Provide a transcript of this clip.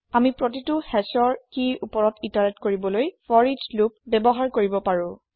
আমি প্ৰতিটো hashৰ কিৰ ওপৰত ইতাৰেত কৰিবলৈ ফৰিচ লোপ ব্যৱহাৰ কৰিব পাৰো